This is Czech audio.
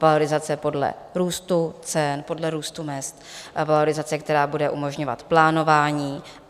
Valorizace podle růstu cen, podle růstu mezd, valorizace, která bude umožňovat plánování.